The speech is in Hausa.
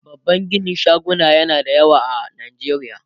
babban ginin shaguna na da yawa a nijeriya